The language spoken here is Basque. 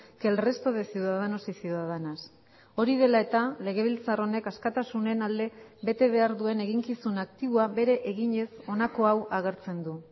que el resto de ciudadanos y ciudadanas hori dela eta legebiltzar honek askatasunen alde bete behar duen eginkizun aktiboa bere eginez honako hau agertzen du